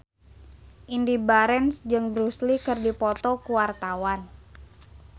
Indy Barens jeung Bruce Lee keur dipoto ku wartawan